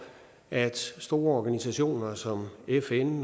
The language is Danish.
at store organisationer som fn